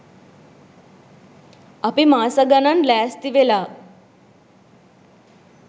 අපි මාස ගණන් ලෑස්ති වෙලා